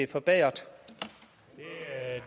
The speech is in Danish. til er